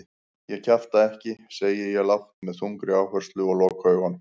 Ég kjafta ekki, segi ég lágt með þungri áherslu og loka augunum.